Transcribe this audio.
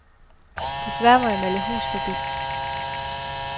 Desværre må jeg melde hus forbi.